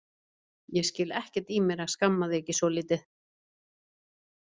Ég skil ekkert í mér að skamma þig ekki svolítið.